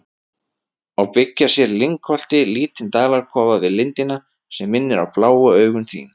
og byggja sér í lyngholti lítinn dalakofa við lindina, sem minnir á bláu augun þín.